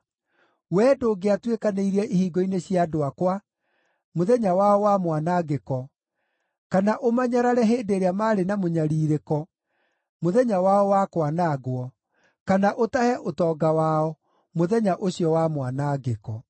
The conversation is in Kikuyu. Wee ndũngĩatuĩkanĩirie ihingo-inĩ cia andũ akwa mũthenya wao wa mwanangĩko, kana ũmanyarare hĩndĩ ĩrĩa maarĩ na mũnyarirĩko mũthenya wao wa kwanangwo, kana ũtahe ũtonga wao mũthenya ũcio wa mwanangĩko.